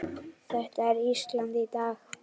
Þetta er Ísland í dag.